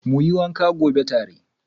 Muyi wanka gobe tare.